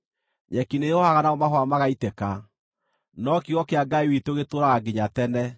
Nyeki nĩĩhoohaga namo mahũa magaitĩka, no kiugo kĩa Ngai witũ gĩtũũraga nginya tene.”